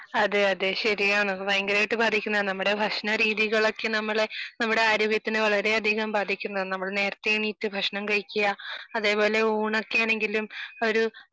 അതെ അതെ ശരിയാണ് ഭയങ്കരയിട്ടു ബാധിക്കുന്നതാണ് നമ്മളെ ഭക്ഷണ രീതികളൊക്കെ നമ്മളെ നമ്മുടെ ആരോഗ്യത്തിന് വളരെയധികം ബാധിക്കുന്നതാണ് . നമ്മൾ നമ്മൾ നേരെത്തെ എണീറ്റ് ഭക്ഷണം കഴിക്കുക അതേപോലെ ഊണൊക്കെ ആണെങ്കിലും